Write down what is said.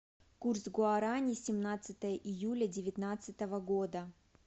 курс гуарани семнадцатое июля девятнадцатого года